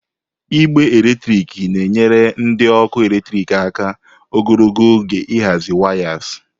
Igbe eletrik na-enyere ndị ọkụ eletrik aka ogologo oge ịhazi wayas.